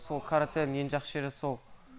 сол каратэнің ең жақсы жері сол